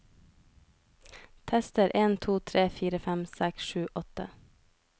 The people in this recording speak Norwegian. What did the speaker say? Tester en to tre fire fem seks sju åtte